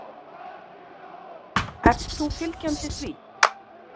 Ert þú fylgjandi því?